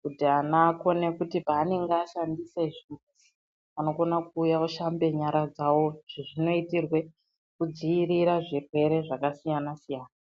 kuti ana akone kuti panenge ashandisa chimbuzi anokona kuuya oshamba nyara dzawo izvi zvinoitirwa kudzivirira zvirwere zvakasiyana-siyana.